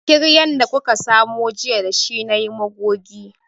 Kiryan da kuka samo jiya da shi nayi magogi